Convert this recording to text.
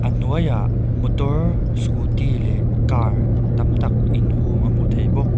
a hnuaiah motor scooty leh car tam tak inhung a hmuh theih bawk.